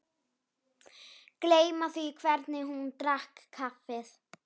Gleyma því hvernig hún drakk kaffið.